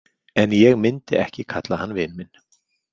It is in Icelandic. En ég myndi ekki kalla hann vin minn.